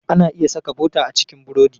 Ana iya saka bota a cikin burodi.